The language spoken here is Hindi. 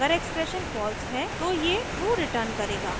अगर एक्सप्रेशन फॉल्स है तो ये ट्रू रिटर्न करेगा